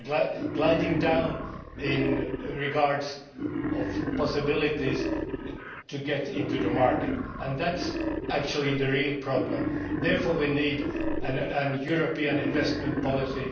They are gliding down as regards possibilities to get into the market, and that is actually the real problem. Therefore, we need a European investment policy.